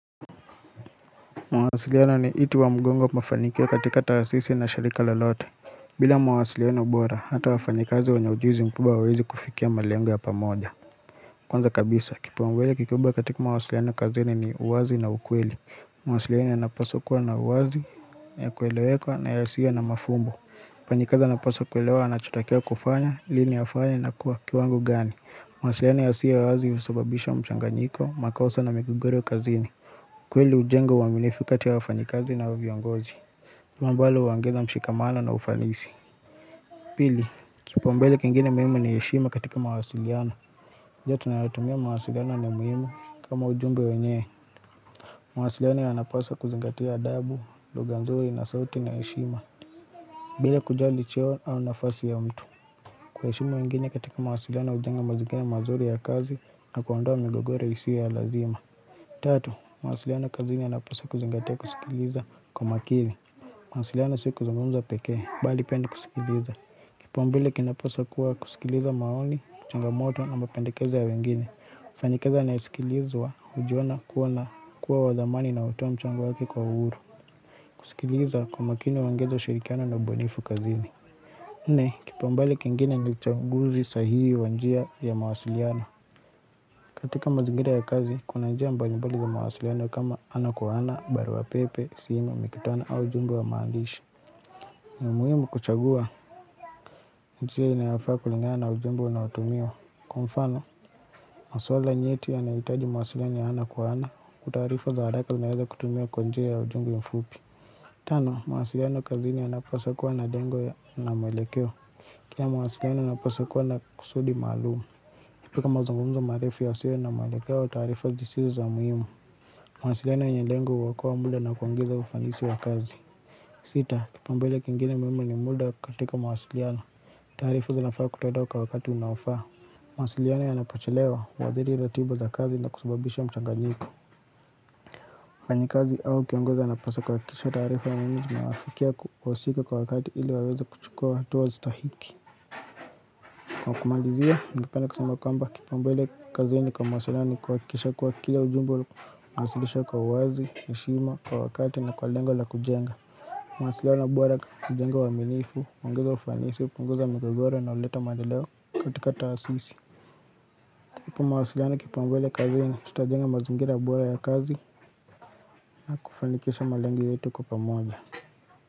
Mawasiliano ni iti wa mgongo mafanikio katika taasisi na shirika lolote bila mawasiliano bora, hata wafanyikazi wenye ujuzi mkubwa wawezi kufikia malengo yapa moja Kwanza kabisa, kipuambele kikubwa katika mawasiliano kazini ni uwazi na ukweli mawasiliano ya napasokwa na uwazi, ya kuelewekwa na yasiyo na mafumbo mfanyikazi anapaswa kuelewa anachotakiwa kufanya, lini afanya na kwa kiwango gani mawasiliano ya siyo ya wazi usababisha mchanganyiko, makosa na migogoro kazini kweli hujenga ua minifu kati ya wafanyikazi na hao viongozi Mambalo uongeza mshikamano na ufalisi Pili, kipaumbele kingine muhimu ni heshima katika mawasiliano Uja tunayatumia mawasiliano ni muhimu kama ujumbe wenyewe mawasiliano yanapaswa kuzingatia adabu, lugha nzuri na sauti na heshima bila kujali cheo au nafasi ya mtu ku heshima wengine katika mawasiliano ujenga mazingira mazuri ya kazi na kuondoa migogoro isio ya lazima Tatu, mawasiliano kazini yanapaswa kuzingatea kusikiliza kwa makiri. Mawasiliano siku zungumza pekee, bali penda kusikiliza. Kipaumbele kinapaswa kuwa kusikiliza maoni, changamoto na mapendekezo ya wengine. Mfanyikazi anayesikilizwa ujiona kuwa na kuwadhamani na utoa mchango wake kwa uhuru. Kusikiliza kwa makini uongeza ushirikiano na ubunifu kazini. Nne, kipaumbele kengine ni uchaguzi sahihi wanjia ya mawasiliano. Katika mazingira ya kazi, kuna njia mbali mbali za mawasiliano kama ana kwa ana, barua pepe, simu, mikutano au ujumbe wa maandishi. Muhimu kuchagua, njia inayofaa kulingana na ujumbe unaotumiwa. Kwa mfano, maswala nyeti ya nahitaji mawasiliano ya ana kwa ana hukutaarifa za haraka zinaweza kutumia kwa njia ya ujumbe la mfupi. Tano, mawasiliano kazi ni ya napaswa kuwa na dengo ya na mwelekeo. Pia mawasiliano yanapaswakua na kusudi maalum. Katika mazungumza marefu yasiyo na mwelekeo wa taarifa zisizo za muhimu mawasiliano yenye lengo huokoa muda na kuongeza ufanisi wa kazi Sita kipaumbele kingine muhimu ni muda katika mawasiliano taarifa zi nafaa kutolewa kwawakati unaofaa mawasiliano ya na pochelewa huadhiri la tibu za kazi na kusababisha mchanganyiko mfanyi kazi au kiongozi a napasa kuhaki kisha taarifa ya muhimu zinawafikia wahusika kwa wakati ili waweza kuchukua hatua zita hiki Kwa kumalizia, ningependa kusema kwamba kipaumbele kazini kwa mawasiliano ni kuhaki kisha kuwa kila ujumbe, unawasilisha kwa uwazi, heshima, kwa wakati na kwa lengo la kujenga. Mawasiliano na bora hujenga ua minifu, uongeza ufanisi, hupunguza mgogoro na huleta maendeleo katika taasisi. Kupa mawasiliano kipaumbele kazeni, tutajenga mazingira bora ya kazi, na kufanikisha malengo yetu kwa pamoja.